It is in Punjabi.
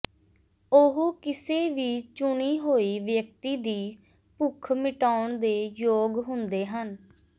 ਉਹ ਕਿਸੇ ਵੀ ਚੁਣੀ ਹੋਈ ਵਿਅਕਤੀ ਦੀ ਭੁੱਖ ਮਿਟਾਉਣ ਦੇ ਯੋਗ ਹੁੰਦੇ ਹਨ